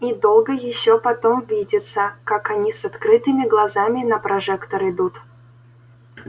и долго ещё потом видится как они с открытыми глазами на прожектор идут